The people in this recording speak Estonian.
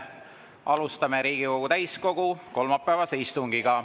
Alustame Riigikogu täiskogu kolmapäevast istungit.